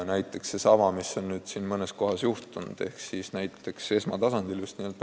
Näiteks seesama, mis on nüüd mõnes kohas esmatasandil juhtunud.